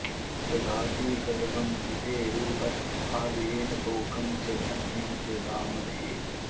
दधाति गर्भमदितेरुपस्थ आ येन तोकं च तनयं च धामहे